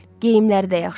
Geyimləri də yaxşıdır.